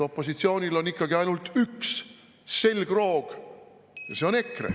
Opositsioonil on ikkagi ainult üks selgroog ja see on EKRE.